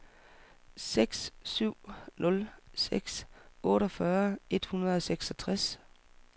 seks syv nul seks otteogfyrre et hundrede og seksogtres